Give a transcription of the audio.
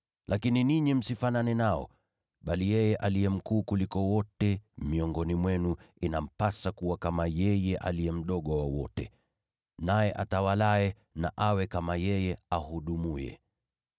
Lakini ninyi msifanane nao. Bali yeye aliye mkuu kuliko wote miongoni mwenu, inampasa kuwa kama yeye aliye mdogo wa wote, naye atawalaye na awe kama yeye ahudumuye.